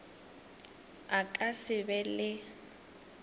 a ka se be le